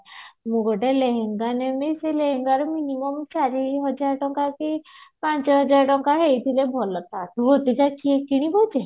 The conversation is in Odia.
ମୁଁ ଗୋଟେ ଲେହେଙ୍ଗା ନେଲି ସେ ଲେହେଙ୍ଗା ଚାରିହାଜର ଟଙ୍କା କି ପାଞ୍ଚ ହଜାର ଟଙ୍କା ହେଇଥିଲେ ଭଲ ତା ଠୁ ଅଧିକା କିଏ କିଣିବ ଏତେ